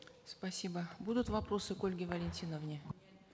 спасибо будут вопросы к ольге валентиновне